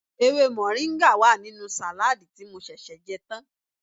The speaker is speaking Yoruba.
Ewé mọ̀ríńgà wà nínú sàládì tí mo ṣẹ̀ṣẹ̀ jẹ́ tán